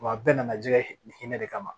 Wa a bɛɛ nana jɛ ni hinɛ de kama